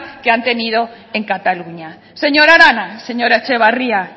que han tenido en cataluña señora arana señora etxebarria